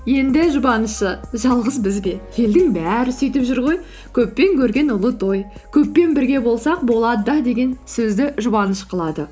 енді жұбанышы жалғыз біз бе елдің бәрі сүйтіп жүр ғой көппен көрген ұлы той көппен бірге болсақ болады да деген сөзді жұбаныш қылады